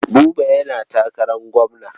Buba yana takarar gwamna.